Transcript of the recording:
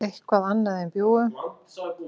eitthvað annað en bjúgu.